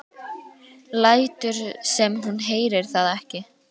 Lætur sem hún heyri það ekki.